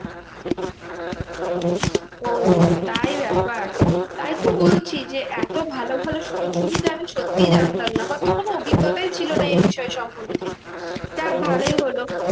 ও তাই ব্যাপার? তাই তো বলছি যে এত ভালো ভালো সুযোগ সুবিধা আছে সত্যি জানতাম না। আমার তো কোনো অভিজ্ঞতাই ছিল না এই বিষয় সম্বন্ধে। যাক ভালোই হলো